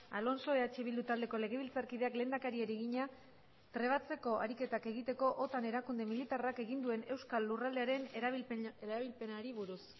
alonso eh bildu taldeko legebiltzarkideak lehendakariari egina trebatzeko ariketak egiteko otan erakunde militarrak egin duen euskal lurraldearen erabilpenari buruz